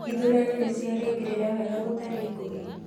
Ithurano nĩ ciarĩkĩrĩra wega gũtarĩ ngũĩ?